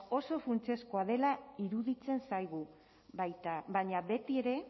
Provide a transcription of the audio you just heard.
oso funtsezkoa dela iruditzen zaigu baina betiere